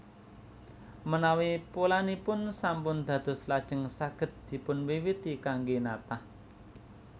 Menawi polanipun sampun dados lajeng saged dipunwiwiti kanggé natah